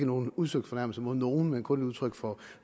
nogen udsøgt fornærmelse mod nogen men kun udtryk for